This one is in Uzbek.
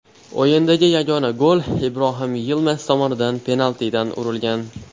O‘yindagi yagona gol Ibrohim Yilmaz tomonidan penaltidan urilgan.